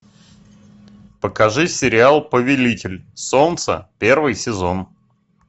покажи сериал повелитель солнца первый сезон